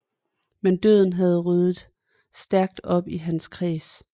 Men døden havde ryddet stærkt op i hans kreds